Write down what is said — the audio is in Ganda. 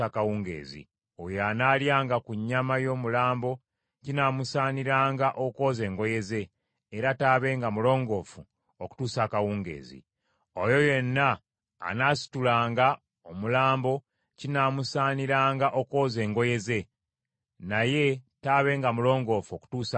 Oyo anaalyanga ku nnyama y’omulambo kinaamusaaniranga okwoza engoye ze, era taabenga mulongoofu okutuusa akawungeezi. Oyo yenna anaasitulanga omulambo, kinaamusaaniranga okwoza engoye ze, naye taabenga mulongoofu okutuusa akawungeezi.